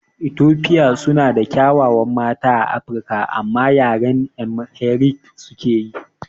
Etofia suna da ƙyawawan mata a Afirika amma yaren AmhariC suke yi